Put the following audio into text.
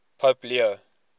pope leo